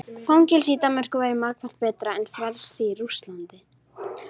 Fangelsi í Danmörku væri margfalt betra en frelsi í Rússlandi.